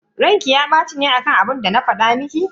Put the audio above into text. Ranki ya baci ne akan abinda na fada miki?